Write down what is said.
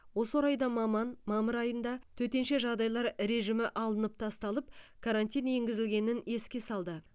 осы орайда маман мамыр айында төтенше жағыдайлар режимі алынып тасталып карантин енгізілгенін еске салды